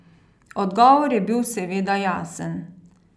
Odgovor je bil seveda jasen.